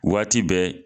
Waati bɛɛ